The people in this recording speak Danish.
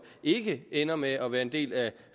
ikke ender med at være en del af